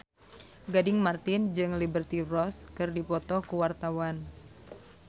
Gading Marten jeung Liberty Ross keur dipoto ku wartawan